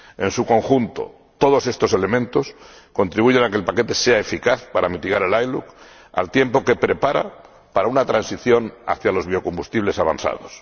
En su conjunto, todos estos elementos contribuyen a que el paquete sea eficaz para mitigar el ILUC, al tiempo que prepara para una transición hacia los biocombustibles avanzados.